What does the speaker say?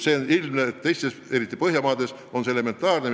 Samas teistes riikides, eriti Põhjamaades on see tasand elementaarne.